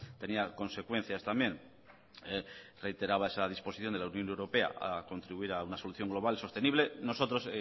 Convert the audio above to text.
tenía consecuencias también reiteraba esa disposición de la unión europea a contribuir a una solución global sostenible nosotros